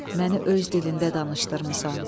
Məni öz dilində danışdırmısan.